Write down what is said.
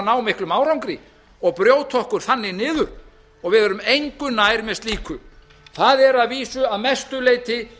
ná miklum árangri og brjóta okkur þannig niður við erum engu nær með slíku það eru að vísu að mestu leyti